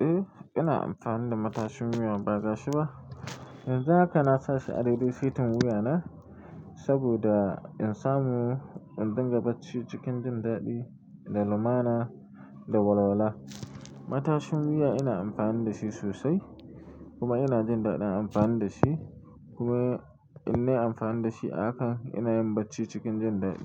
Eh, ina amfani da matashin wuya ba gashi ba. Yanzu haka na sashi a daidai setin wuya na saboda insamu in dinga bacci cikin jin daɗi, da lumana da walwala. Matashin wuya ina amfani da shi sosai kuma ina jin daɗin amfani da shi kuma in nayi amfani da shi a haka ina yin bacci cikin jin daɗi.